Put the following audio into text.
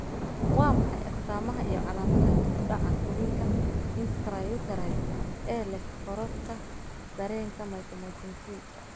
Waa maxay astamaha iyo calaamadaha dib u dhaca korriinka intrauterine ee leh korodhka dareenka mitomycin C?